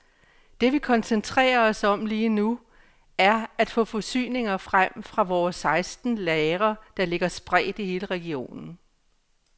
Det vi koncentrerer os om lige nu, er at få forsyninger frem fra vores seksten lagre, der ligger spredt i hele regionen.